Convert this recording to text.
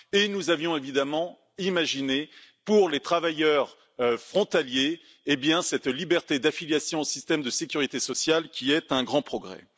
Nous avions évidemment aussi imaginé, pour les travailleurs frontaliers, cette liberté d'affiliation au système de sécurité sociale, qui est un grand progrès.